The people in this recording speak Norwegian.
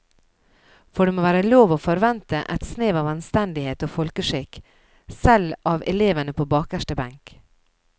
For det må være lov å forvente et snev av anstendighet og folkeskikk, selv av elevene på bakerste benk.